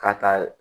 K'a ta